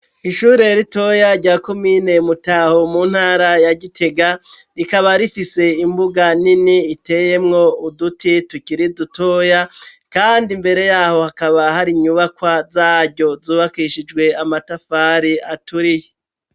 Ishure ritoya rya komine mutaho mu ntara ya gitega rikaba rifise imbuga nini iteyemwo uduti tukiri dutoya kandi mbere yaho hakaba hari nyubakwa zaryo zubakishijwe amatafari aturiye.